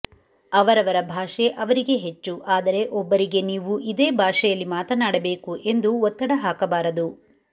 ಅವರವರ ಭಾಷೆ ಅವರಿಗೆ ಹೆಚ್ಚು ಆದರೆ ಒಬ್ಬರಿಗೆ ನೀವು ಇದೇ ಭಾಷೆಯಲ್ಲಿ ಮಾತನಾಡಬೇಕು ಎಂದು ಒತ್ತಡ ಹಾಕಬಾರದು